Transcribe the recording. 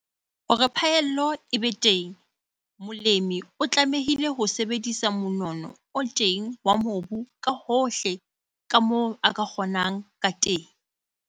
Hore phaello e be teng, molemi o tlamehile ho sebedisa monono o teng wa mobu ka hohle ka moo a ka kgonang ka teng.